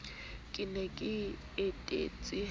ke ne ke etetse ha